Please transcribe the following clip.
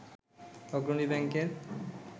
অগ্রণী ব্যাংকের